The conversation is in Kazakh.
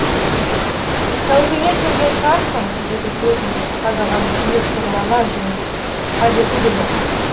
тәубеңе келген шығарсың деді көзін тік қадаған күйі сұрлана жымиып қажеті де жоқ